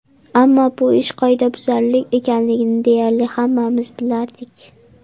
Ammo bu ish qoidabuzarlik ekanligini deyarli hammamiz bilardik.